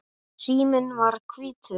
Síminn var hvítur.